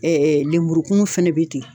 lemurukumu fɛnɛ bɛ ten.